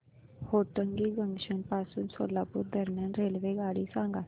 Hotgi junction पासून सोलापूर दरम्यान रेल्वेगाडी सांगा